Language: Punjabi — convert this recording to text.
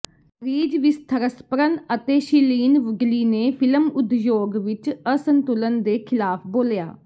ਰੀਜ ਵਿਥਰਸਪਰਨ ਅਤੇ ਸ਼ੀਲੀਨ ਵੁਡਲੀ ਨੇ ਫਿਲਮ ਉਦਯੋਗ ਵਿੱਚ ਅਸੰਤੁਲਨ ਦੇ ਖਿਲਾਫ ਬੋਲਿਆ